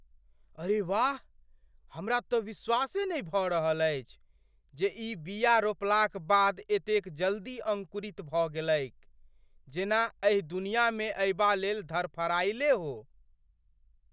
अरे वाह, हमरा तँ विश्वासे नहि भऽ रहल अछि जे ई बिया रोपलाक बाद एतेक जल्दी अङ्कुरित भऽ गेलैक। जेना एहि दुनियामे अयबा लेल धरफरायले हो।